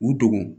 U dogo